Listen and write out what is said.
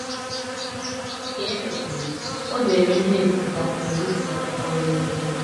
Ka e mesịrị, o deere ndị na - ebiputa akwụkwo ebiputa akwụkwo edemede.